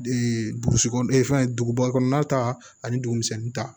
burusi kɔnɔ fɛn duguba kɔnɔna ta ani dugu misɛnnin ta